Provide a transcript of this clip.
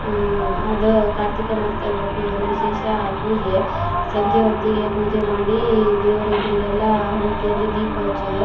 ಅಹ್ ಅದ್ ಕಾರ್ತಿಕ ಮಾಸ್ ದಲ್ಲಿ ಬಪ್ಪುದೊಂದು ವಿಶೇಷ ಪೂಜೆ ಸಂಜೆ ಹೊತ್ತಿಗೆ ಪೂಜೆ ಮಾಡಿ ದೇವ್ರ ಎದ್ರಿಗೆಲ್ಲಾ ಹಣತೆಯಲ್ಲಿ ದೀಪ ಹಚೋದು.